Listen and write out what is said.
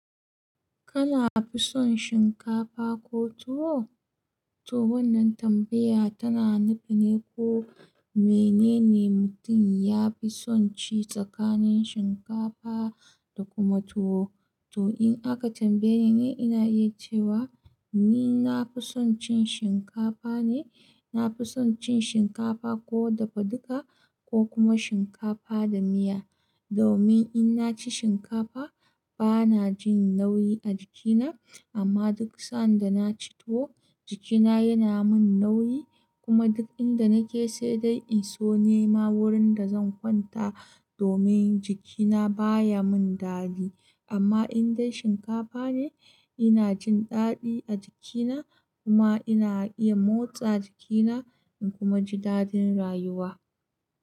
Kana fi son shinkafa ko tuwo? Toh wannan tambaya tana nufi ne ko menene mutum ya fi son ci tsakanin shinkafa da kuma tuwo. To in aka tambaye ni, ina iya cewa ni na fi son cin shinkafa ne. Na fi son cin shinkafa ko dafaduka ko kuma shinkafa da miya. Domin in na ci shinkafa, bana jin nauyi a jikina. Amma duk sanda na ci tuwo, jikina yana min nauyi kuma duk inda nake sai dai in so neman wurin da zan kwanta. Domin jikina baya min dadi. Amma idan shinkafa ne, ina jin dadi a jikina kuma ina iya motsa jikina. Kuma ji dadin rayuwa.